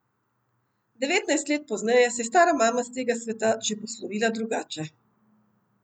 Devetnajst let pozneje se je stara mama s tega sveta že poslovila drugače.